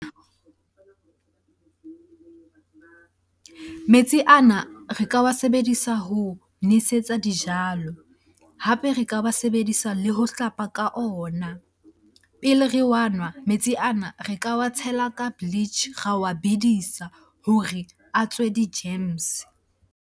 Metsi ana re ka wa sebedisa ho nosetsa dijalo, hape re ka wa sebedisa le ho hlapa ka ona. Pele re wa nwa, metsi ana re ka wa tshela ka bleach ra wa bedisa hore a tswe di-germs.